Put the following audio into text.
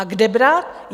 A kde brát?